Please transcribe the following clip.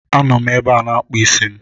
A nọ m ebe m na-akpụ isi m